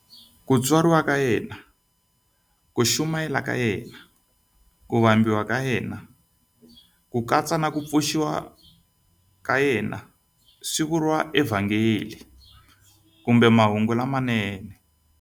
Ku tswariwa ka yena, ku chumayela ka yena, ku vambiwa ka yena, na ku pfuxiwa swi vuriwa eVhangeli kumbe Mahungu lamanene.